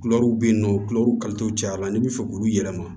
Kulɛriw bɛ yen nɔ kulɛriw kalito caya la n'i bɛ fɛ k'olu yɛlɛma